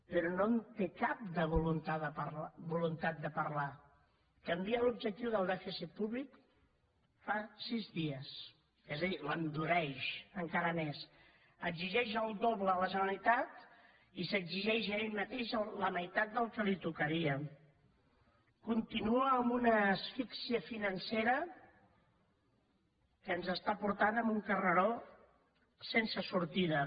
però no en té cap de voluntat de parlar canvien l’objectiu de dèficit públic fa sis dies és a dir l’endureix encara més exigeix el doble a la generalitat i s’exigeix a ell mateix la meitat del que li tocaria continua amb una asfíxia financera que ens està portant a un carreró sense sortida